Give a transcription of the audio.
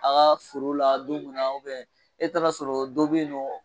A ka foro la don mun na e taara sɔrɔ dɔ beyinɔ.